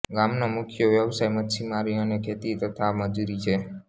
ગામનો મુખ્ય વ્યવસાય મચ્છીમારી અને ખેતી તથા મજુરી છે